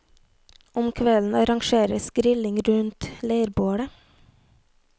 Om kvelden arrangeres grilling rundt leirbålet.